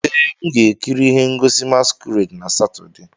Ee, m ga-ekiri ihe ngosi masquerade na Satọde.